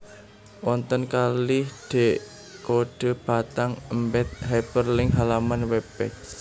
Wonten kalih D kodé batang embed hyperlink halaman web page